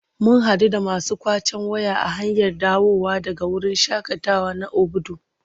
Mun haɗu da masu ƙwacen waya a hanyar dawowa daga wurin shaƙatawa na Obudu.